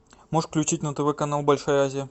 можешь включить на тв канал большая азия